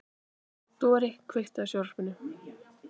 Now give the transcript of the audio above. Dorri, kveiktu á sjónvarpinu.